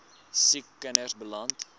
siek kinders beland